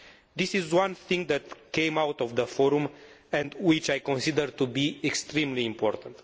There is one thing that came out of the Forum which I consider to be extremely important.